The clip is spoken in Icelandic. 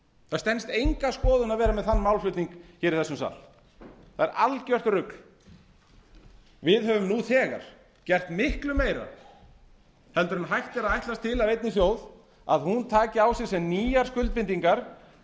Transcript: það stenst enga skoðun að vera með þann málflutning í þessum sal það er algert rugl við höfum nú þegar gert miklu meira heldur en hægt er að ætlast til af einni þjóð að hún taki á sig sem nýjar skuldbindingar